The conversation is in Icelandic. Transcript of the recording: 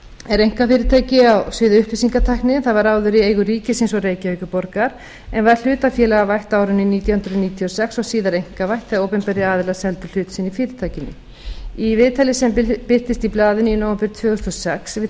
er einkafyrirtæki á sviði upplýsingatækni það var áður í eigu ríkisins og reykjavíkurborgar en var hlutafélagavætt á árinu nítján hundruð níutíu og sex og síðar einkavætt þegar opinberir aðilar seldu hlut sinn í fyrirtækinu í viðtali sem birtist blaðinu í nóvember tvö þúsund og sex við